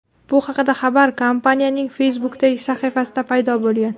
Bu haqdagi xabar kompaniyaning Facebook’dagi sahifasida paydo bo‘lgan.